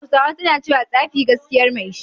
Hausawa suna cewa "Tsafi gaskiyar mai shi"